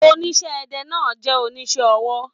Oníṣẹ́-ẹdẹ náà jẹ oníṣẹ́ ọwọ́.